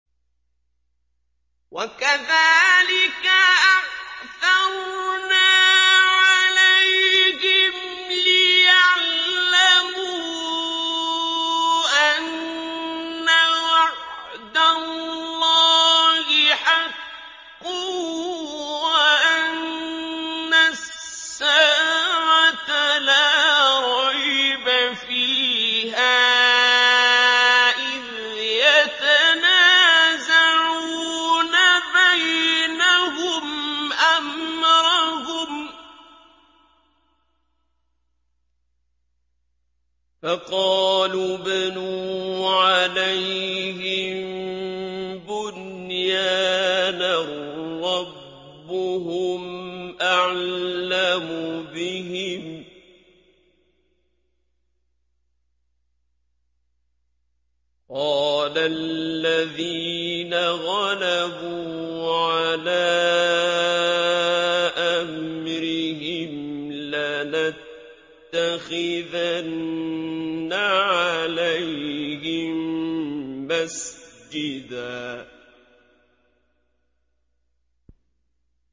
وَكَذَٰلِكَ أَعْثَرْنَا عَلَيْهِمْ لِيَعْلَمُوا أَنَّ وَعْدَ اللَّهِ حَقٌّ وَأَنَّ السَّاعَةَ لَا رَيْبَ فِيهَا إِذْ يَتَنَازَعُونَ بَيْنَهُمْ أَمْرَهُمْ ۖ فَقَالُوا ابْنُوا عَلَيْهِم بُنْيَانًا ۖ رَّبُّهُمْ أَعْلَمُ بِهِمْ ۚ قَالَ الَّذِينَ غَلَبُوا عَلَىٰ أَمْرِهِمْ لَنَتَّخِذَنَّ عَلَيْهِم مَّسْجِدًا